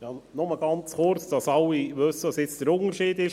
Nur kurz, damit alle wissen, wo hier der Unterschied liegt.